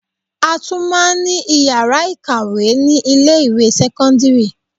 A tún máa ní ìyàrá ìkàwé ni ilé ìwé sẹ́kọ́ńdírì.